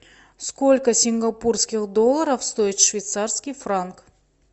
сколько сингапурских долларов стоит швейцарский франк